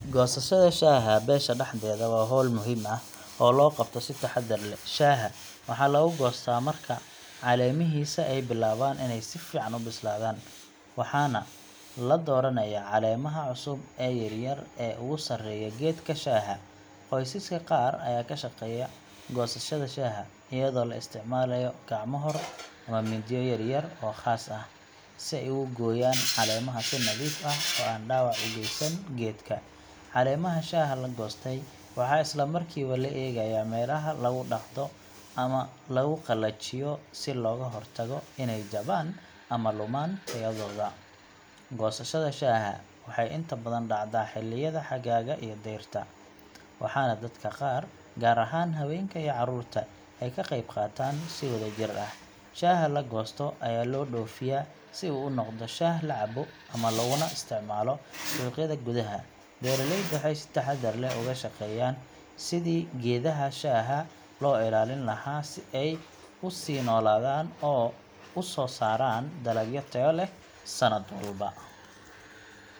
Goosashada shaaha beesha dhexdeeda waa hawl muhiim ah oo loo qabto si taxaddar leh. Shaaha waxaa laga goostaa marka caleemihiisa ay bilaabaan inay si fiican u bislaadaan, waxaana la dooranayaa caleemaha cusub ee yaryar ee ugu sareeya geedka shaaha. Qoysaska qaar ayaa ka shaqeeya goosashada shaaha, iyadoo la isticmaalayo gacmo-hor, ama mindiyo yaryar oo khaas ah, si ay uga gooyaan caleemaha si nadiif ah oo aan dhaawac u geysan geedka. Caleemaha shaaha la goostay waxaa isla markiiba la geeyaa meelaha lagu dhaqdo ama lagu qalajiyo si looga hortago inay jabaan ama lumaan tayadooda. Goosashada shaaha waxay inta badan dhacdaa xilliyada xagaaga iyo dayrta, waxaana dadka qaar, gaar ahaan haweenka iyo carruurta, ay ka qaybqaataan si wadajir ah. Shaaha la goosto ayaa loo dhoofiyaa si uu u noqdo shaah la cabbo ama looguna isticmaalo suuqyada gudaha. Beeraleyda waxay si taxaddar leh uga shaqeeyaan sidii geedaha shaaha loo ilaalin lahaa si ay u sii noolaadaan oo u soo saaraan dalag tayo leh sannad walba.